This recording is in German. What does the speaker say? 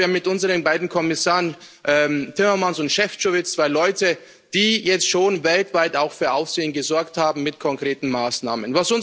Ich glaube, wir haben mit unseren beiden Kommissaren Timmermans und Šefčovič zwei Leute, die jetzt schon weltweit auch für Aufsehen gesorgt haben mit konkreten Maßnahmen.